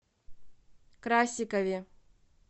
красикове